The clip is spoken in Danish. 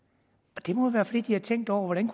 det må jo være fordi de har tænkt over hvordan